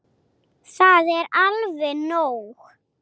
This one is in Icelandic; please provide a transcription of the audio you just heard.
Það er alveg nóg.